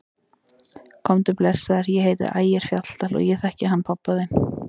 Komdu blessaður, ég heiti Ægir Fjalldal og ég þekki hann pabba þinn!